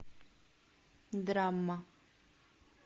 драма